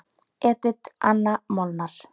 Edit Anna Molnar.